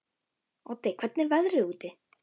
Oddi, hvernig er veðrið úti?